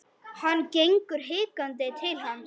Hann gengur hikandi til hans.